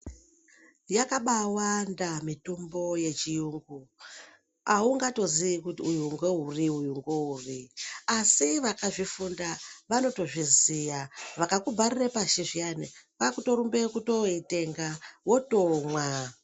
Yabawanda mitombo yechiyungu. Haungatoziyi kuti uyu ngeuri, uyu ngouri. Asi vakazvifunda vanotozviziya. Vakakubharire pashi zviyani, kwakutorumbe kutoitenga, wotomwa.